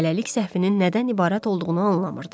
Hələlik səhvinin nədən ibarət olduğunu anlamırdı.